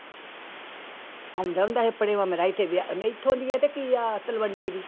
ਆਉਂਦਾ ਹੁੰਦਾ ਸੀ ਆਪਣੇ ਇੱਥੇ ਵਿਆਹ ਨਹੀਂ ਇੱਥੋਂ ਦੀ ਆ ਤੇ ਕੀ ਆ ਤਲਵੰਡੀ ਦੀ।